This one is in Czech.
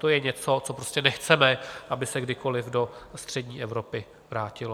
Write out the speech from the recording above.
To je něco, co prostě nechceme, aby se kdykoliv do střední Evropy vrátilo.